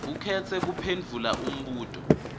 ukhetse kuphendvula umbuto